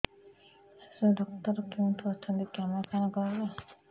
ଶିଶୁ ଡକ୍ଟର କୋଉଠି ଅଛନ୍ତି କାମାକ୍ଷାନଗରରେ